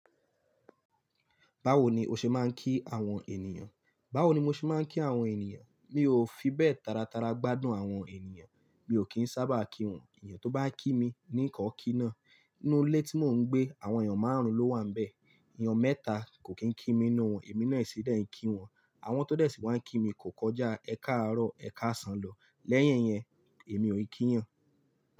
Báwo ni o ṣe máa ń kí àwọn ènìyàn? Báwo ni mo ṣe máa ń kí àwọn ènìyàn? Mi ò fi bẹ́ẹ̀ tàràtàrà gbádùn àwọn ènìyàn, mi ò kín sábà kí wọn. Ènìyàn tó bá kí mi ní ìkọ́ kí ná. Nínú ilé tí mò ń gbé, àwọn èèyàn márùn-ún ló wà níbẹ̀. Ẹ̀yàn mẹ́ta kò kín kí mi inú wọn, èmi náà sì dẹ̀ ń kí wọn. Àwọn tó dẹ̀ sì wá ń kí mi kò kọjá ẹ káàárọ̀ ẹ káàsán lọ. Lẹ́yìn yẹn, èmi ò kí ènìyàn.